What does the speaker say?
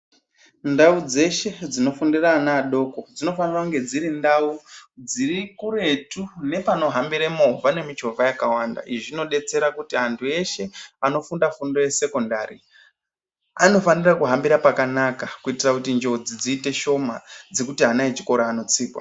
Ndau dzeshe dzinofundira ana adoko, dzinofanire kunge dziri ndau dzirikuretu nepanohambire movha nemichovha yakawanda. Izvi zvinobatsire kuti antu akawanda eshe anofunda fundo yesekondari anofanira kuhambira pakanaka kuitira kuti njodzi dziite shoma dzekuti ana echikora anotsikwa.